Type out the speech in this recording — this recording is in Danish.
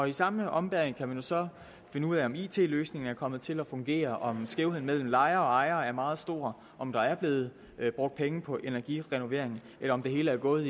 i samme ombæring kan man så finde ud af om it løsningen er kommet til at fungere om skævheden mellem lejere og ejere er meget stor om der er blevet brugt penge på energirenoveringer eller om det hele er gået